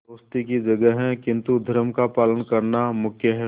दोस्ती की जगह है किंतु धर्म का पालन करना मुख्य है